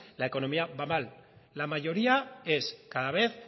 la economía va mal la mayoría es cada vez